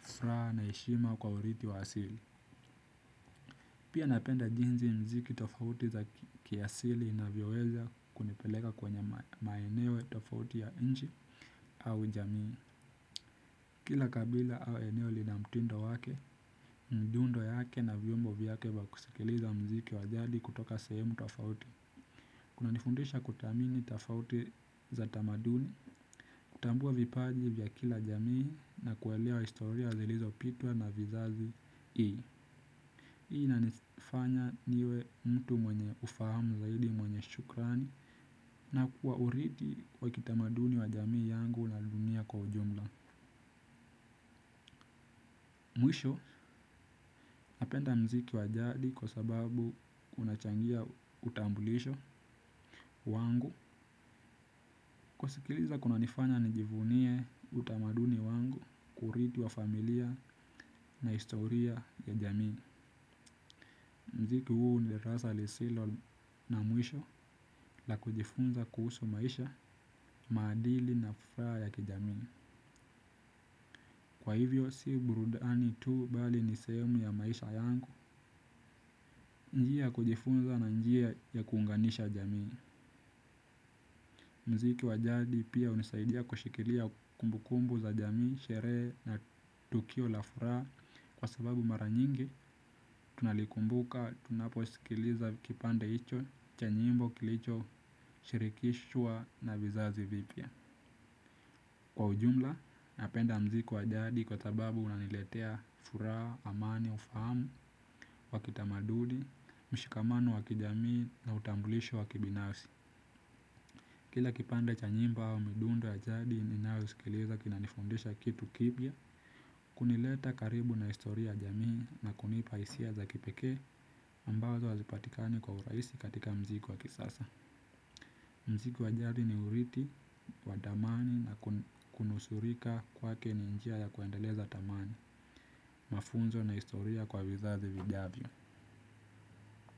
furaha na heshima kwa urithi wa asili. Pia napenda jinsi muziki tofauti za kiasili inavyoweza kunipeleka kwenye maeneo tofauti ya nchi au jamii. Kila kabila au eneo lina mtindo wake, mdundo yake na vyombo vyake wa kusikiliza muziki wa jadi kutoka sehemu tofauti. Kunanifundisha kuthamini tofauti za tamaduni, kutambua vipaji vya kila jamii na kuelewa historia zilizopitwa na vizazi hii. Hii inanifanya niwe mtu mwenye ufahamu zaidi mwenye shukrani na kwa urithi wa kitamaduni wa jamii yangu na dunia kwa ujumla. Mwisho napenda muziki wa jadi kwa sababu unachangia utambulisho wangu. Kusikiliza kunanifanya nijivunie utamaduni wangu, kurithi wa familia na historia ya jamii. Muziki huu ni darasa lisilo na mwisho la kujifunza kuhusu maisha, maadili na furaha ya kijamii. Kwa hivyo si burudani tu bali ni sehemu ya maisha yangu. Njia ya kujifunza na njia ya kuunganisha jamii. Muziki wa jadi pia hunisaidia kushikilia kumbukumbu za jamii, sherehe na tukio la furaha, kwa sababu mara nyingi tunalikumbuka tunaposikiliza kipande hicho cha nyimbo kilichoshirikishwa na vizazi vipya. Kwa ujumla napenda muziki wa jadi kwa sababu unaniletea furaha, amani, ufahamu wa kitamaduni, mshikamano wa kijamii na utambulisho wa kibinafsi. Kila kipande cha nyimbo au midundo ya jadi ninayosikiliza kinanifundisha kitu kipya. Kunileta karibu na historia ya jamii na kunipa hisia za kipekee ambazo hazipatikani kwa urahisi katika muziki wa kisasa. Muziki wa jadi ni urithi, wa thamani na kunusurika kwake ni njia ya kuendeleza thamani, mafunzo na historia kwa vizazi vijavyo.